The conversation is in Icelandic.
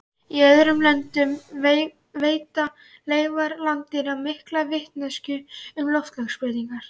Í öðrum löndum veita leifar landdýra mikla vitneskju um loftslagsbreytingar.